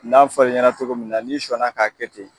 N'a fɔl'i ɲɛna cogo min na, n'i sɔnn'a k'a kɛ ten.